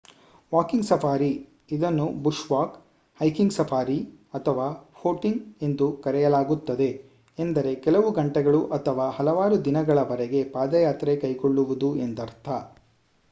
walking safari ಇದನ್ನು bush walk hiking safari ಅಥವಾ footing ಎಂದು ಕರೆಯಲಾಗುತ್ತದೆ ಎಂದರೆ ಕೆಲವು ಗಂಟೆಗಳು ಅಥವಾ ಹಲವಾರು ದಿನಗಳವರೆಗೆ ಪಾದಯಾತ್ರೆ ಕೈಗೊಳ್ಳುವುದು ಎಂದರ್ಥ